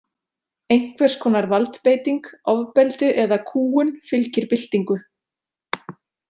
Einhvers konar valdbeiting, ofbeldi eða kúgun fylgir byltingu.